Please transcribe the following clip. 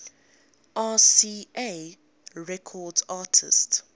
rca records artists